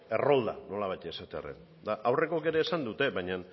errolda nolabait esatearren eta aurrekoek ere esan dute baina